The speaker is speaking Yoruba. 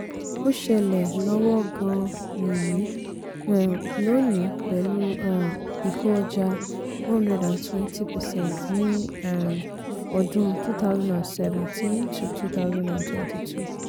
ó ṣẹlẹ̀ lọ́wọ́ gan-an nìyí um lónìí pẹ̀lú um ìkó ọjà one hundred and twenty percent ní um ọdún twenty seventeen-twenty twenty two